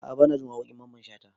A'a banajin waƙoƙin mamman shata